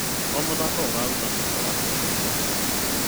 O mũthako ũraruta mweke wa kuonania taranda.